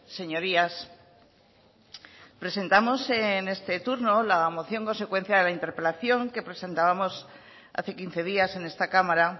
señorías presentamos en este turno la moción consecuencia de la interpelación que presentábamos hace quince días en esta cámara